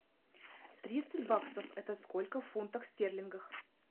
тридцать баксов это сколько в фунтах стерлингов